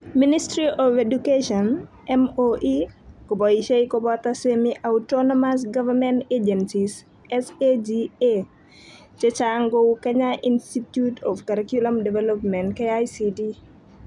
Ministry of Education (MoE) koboisie koboto Semi-autonomous government agencies (SAGAs) che chang' kou Kenya Institute of Curriculum Development (KICD)